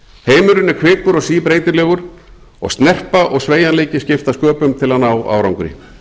heimurinn er kvikur og síbreytilegur og snerpa og sveigjanleiki skipta sköpum til að ná árangri